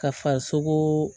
Ka farisogoo